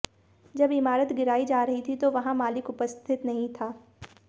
जब ईमारत गिराई जा रही थी तो वहां मालिक उपस्थित नहीं था